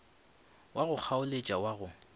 wa go kgaoletša wa go